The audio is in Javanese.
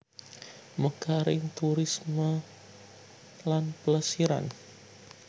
Mekaring turisme lan plesiran